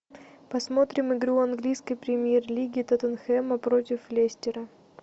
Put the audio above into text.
посмотрим игру английской премьер лиги тоттенхэма против лестера